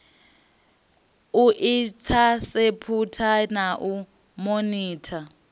u inthaseputha na u monitha